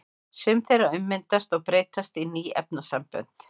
Sum þeirra ummyndast og breytast í ný efnasambönd.